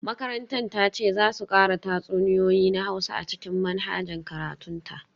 Makarantar ta ce za su kara tatsuniyoyi na Hausa a cikin manhajar karatun ta